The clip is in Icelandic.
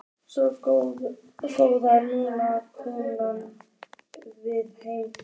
Svona góða, nú komum við heim.